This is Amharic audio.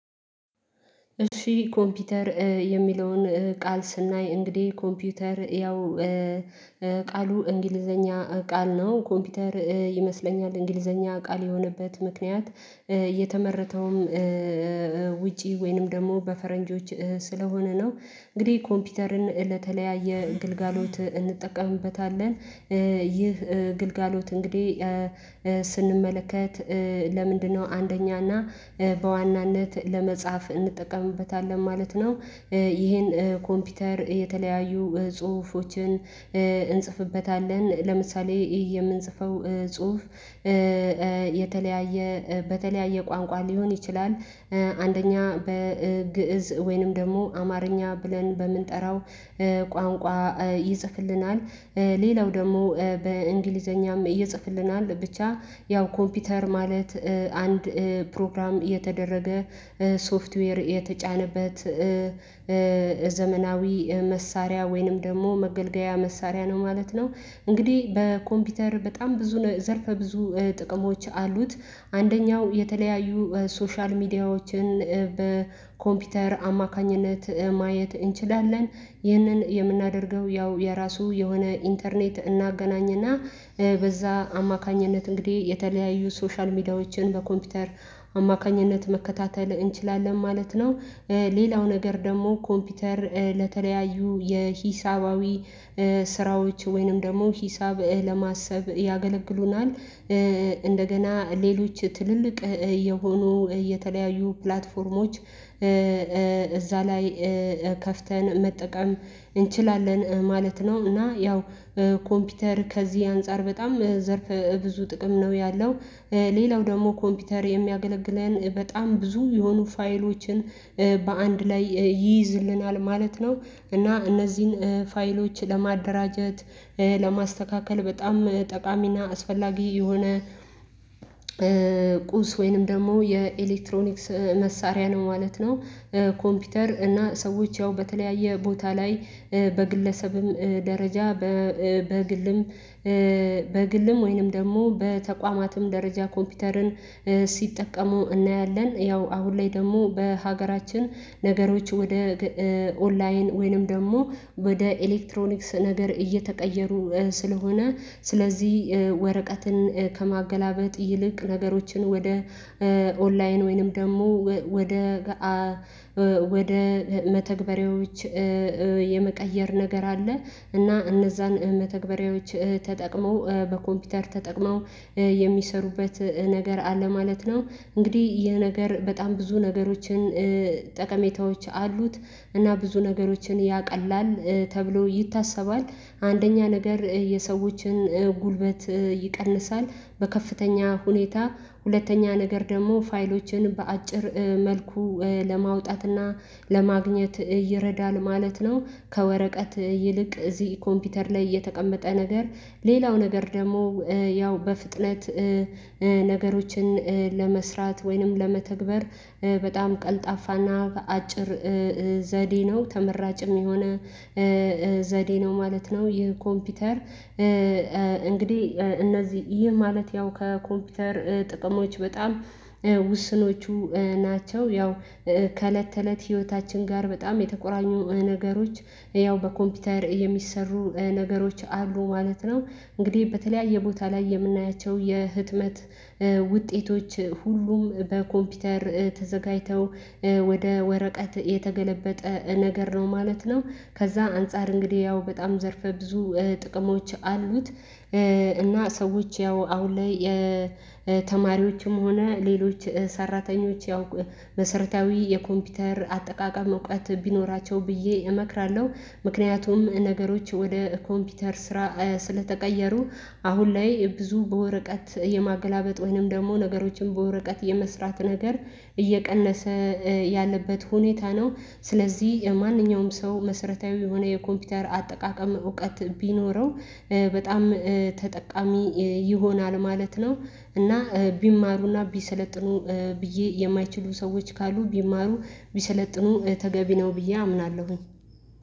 እሺ ኮምፒውተር የሚለውን ቃል ስናይ እንግዲህ ኮምፒውተር ያው ቃሉ እንግሊዘኛ ቃል ነው ኮምፒውተር ይመስለኛል እንግሊዘኛ ቃል የሆነበት ምክንያት የተመረተውም ውጪ ወይንም ደግሞ በፈረንጆች ስለሆነ ነው። እንግዲህ ኮምፒውተርን ለተለያየ ግልጋሎት እንጠቀምበታለን ይህ ግልጋሎት እንግዲህ ስንመለከት ለምንድነው አንደኛና በዋናነት ለመጻፍ እንጠቀምበታለን ማለት ነው፣ ይሄን ኮምፒውተር የተለያዩ ጽሁፎችን እንጽፍበታለን ለምሳሌ የምንጽፈው ጽሁፍ የተለያየ በተለያየ ቋንቋ ሊሆን ይችላል፣ አንደኛ በግእዝ ወይንም ደግሞ አማርኛ ብለን በምንጠራው ቋንቋ ይጽፍልናል ሌላው ደግሞ በእንግሊዘኛም ይጽፍልናል ብቻ ያው ኮምፒውተር ማለት አንድ ፕሮግራም የተደረገ ሶፍትዌር የተጫነበት ዘመናዊ መሳሪያ ወይንም ደግሞ መገልገያ መሳሪያ ነው ማለት ነው። እንግዲህ በኮምፒውተር በጣም ብዙ ዘርፈ ብዙ ጥቅሞች አሉት። አንደኛው የተለያዩ ሶሻል ሚዲያዎችን በኮምፒውተር አማካኝነት ማየት እንችላለን ይህንን የምናደርገው ያው የራሱ የሆነ ኢንተርኔት እናገናኝና በዛ አማካኝነት እንግዲህ የተለያዩ ሶሻል ሚዲያዎችን በኮምፒውተር አማካኝነት መከታተል እንችላለን ማለት ነው። ሌላው ነገር ደግሞ ኮምፒውተር ለተለያዩ የሂሳባዊ ስራዎች ወይንም ደግሞ ሂሳብ ለማሰብ ያገለግሉናል እንደገና ሌሎች ትልልቅ የሆኑ የተለያዩ ፕላትፎርሞች እዛ ላይ ከፍተን መጠቀም እንችላለን ማለት ነው እና ያው ኮምፒውተር ከዚህ አንፃር በጣም ዘርፍ ብዙ ጥቅም ነው ያለው፣ ሌላው ደግሞ ኮምፒውተር የሚያገለግለን በጣም ብዙ የሆኑ ፋይሎችን በአንድ ላይ ይይዝልናል ማለት ነው። እና እነዚህን ፋይሎች ለማደራጀት ለማስተካከል በጣም ጠቃሚና አስፈላጊ የሆነ ቁስ ወይንም ደግሞ የኤሌክትሮኒክስ መሳሪያ ነው ማለት ነው። ኮምፒውተር እና ሰዎች ያው በተለያየ ቦታ ላይ በግለሰብም ደረጃ በግልም በግልም ወይንም ደግሞ በተቋማትም ደረጃ ኮምፒውተርን ሲጠቀሙ እናያለን ያው አሁን ላይ ደግሞ በሀገራችን ነገሮች ወደ ኦንላይን ወይንም ደግሞ ወደ ኤሌክትሮኒክስ ነገር እየተቀየሩ ስለሆነ ስለዚህ ወረቀትን ከማገላበጥ ይልቅ ነገሮችን ወደ ኦንላይን ወይንም ደግሞ ወደ ወደ መተግበሬዎች የመቀየር ነገር አለ። እና እነዛን መተግበሪያዎች ተጠቅመው በኮምፒውተር ተጠቅመው የሚሰሩበት ነገር አለ ማለት ነው። እንግዲህ ይህ ነገር በጣም ብዙ ነገሮችን ጠቀሜታዎች አሉት እና ብዙ ነገሮችን ያቀላል ተብሎ ይታሰባል። አንደኛ ነገር የሰዎችን ጉልበት ይቀንሳል በከፍተኛ ሁኔታ፣ ሁለተኛ ነገር ደግሞ ፋይሎችን በአጭር መልኩ ለማውጣትና ለማግኘት ይረዳል ማለት ነው ከወረቀት ይልቅ እዚህ ኮምፒውተር ላይ እየተቀመጠ ነገር ሌላው ነገር ደግሞ ያው በፍጥነት ነገሮችን ለመስራት ወይንም ለመተግበር በጣም ቀልጣፋና በአጭር ዘዴ ነው ተመራጭም የሆነ ዘዴ ነው ማለት ነው። ይህ ኮምፒውተር እንግዲህ እነዚህ ይህ ማለት ያው ከኮምፒውተር ጥቅሞች በጣም ውስኖቹ ናቸው ያው ከእለት ተእለት ህይወታችን ጋር በጣም የተቆራኙ ነገሮች ያው በኮምፒውተር የሚሰሩ ነገሮች አሉ ማለት ነው። እንግዲህ በተለያየ ቦታ ላይ የምናያቸው የህትመት ውጤቶች ሁሉም በኮምፒውተር ተዘጋጅተው ወደ ወረቀት የተገለበጠ ነገር ነው ማለት ነው ከዛ አንፃር እንግዲህ ያው በጣም ዘርፈ ብዙ ጥቅሞች አሉት። እና ሰዎች ያው አሁን ላይ የተማሪዎችም ሆነ ሌሎች ሰራተኞች ያው መሰረታዊ የኮምፒውተር አጠቃቀም እውቀት ቢኖራቸው ብዬ እመክራለሁ ምክንያቱም ነገሮች ወደ ኮምፒውተር ስራ ስለተቀየሩ አሁን ላይ ብዙ በወረቀት የማገላበጥ ወይንም ደግሞ ነገሮችን በወረቀት የመስራት ነገር እየቀነሰ ያለበት ሁኔታ ነው ስለዚህ ማንኛውም ሰው መሰረታዊ የሆነ የኮምፒውተር አጠቃቀም እውቀት ቢኖረው በጣም ተጠቃሚ ይሆናል ማለት ነው እና ቢማሩና ቢሰለጥኑ ብዬ የማይችሉ ሰዎች ካሉ ቢማሩ ቢሰለጥኑ ተገቢ ነው ብዬ አምናለሁ።